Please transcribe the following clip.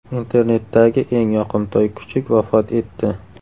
Internetdagi eng yoqimtoy kuchuk vafot etdi.